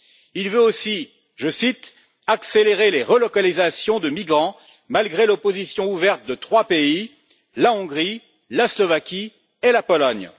Il veut aussi, je cite, accélérer les relocalisations de migrants, malgré l'opposition ouverte de trois pays la Hongrie, la Slovaquie et la Pologne.